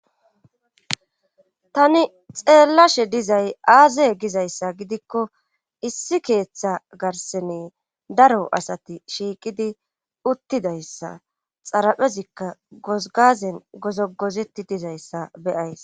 tani xeellashe dizay aaze gizayssa gidikko issi keeththa garsene daro asati shiiqidi uttidayssa xaraphezikka gozgazen gozogozeti dizayssa beyays